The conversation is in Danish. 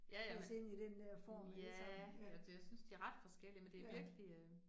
Ja ja, men ja, eller det jeg synes de ret forskellige, men det virkelig øh